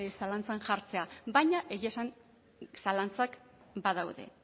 zalantzan jartzea baina egia esan zalantzak badaude